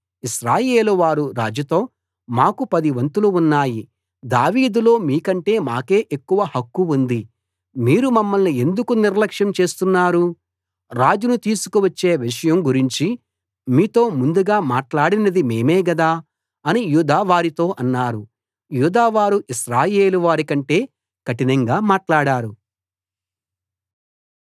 ఇశ్రాయేలువారు రాజులో మాకు పది వంతులు ఉన్నాయి దావీదులో మీకంటే మాకే ఎక్కువ హక్కు ఉంది మీరు మమ్మల్ని ఎందుకు నిర్లక్ష్యం చేస్తున్నారు రాజును తీసుకువచ్చే విషయం గురించి మీతో ముందుగా మాట్లాడినది మేమే గదా అని యూదావారితో అన్నారు యూదావారు ఇశ్రాయేలువారి కంటే కఠినంగా మాట్లాడారు